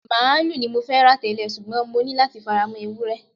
Màálù ni mo fẹ́ rà tẹ́lẹ̀, ṣùgbọ́n mo ní láti fara mọ́ Ewúré.